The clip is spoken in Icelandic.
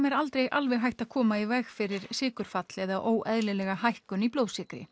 er aldrei alveg hægt að koma í veg fyrir sykurfall eða óeðlilegar hækkanir í blóðsykri